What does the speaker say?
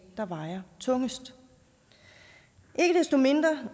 der vejer tungest ikke desto mindre